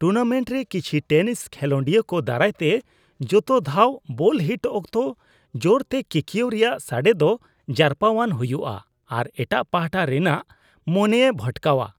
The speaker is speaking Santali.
ᱴᱩᱨᱱᱟᱢᱮᱱᱴ ᱨᱮ ᱠᱤᱪᱷᱤ ᱴᱮᱱᱤᱥ ᱠᱷᱮᱞᱳᱰᱤᱭᱟᱹ ᱠᱚ ᱫᱟᱨᱟᱭ ᱛᱮ ᱡᱚᱛᱚ ᱫᱷᱟᱣ ᱵᱚᱞ ᱦᱤᱴ ᱚᱠᱛᱚ ᱡᱚᱨᱛᱮ ᱠᱤᱠᱭᱟᱹᱣ ᱨᱮᱭᱟᱜ ᱥᱟᱰᱮ ᱫᱚ ᱡᱟᱨᱯᱟᱣᱟᱱ ᱦᱩᱭᱩᱜᱼᱟ ᱟᱨ ᱮᱴᱟᱜ ᱯᱟᱦᱴᱟ ᱨᱤᱱᱟᱜ ᱢᱚᱱᱮᱭ ᱵᱷᱚᱴᱠᱟᱣᱼᱟ ᱾